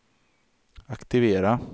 aktivera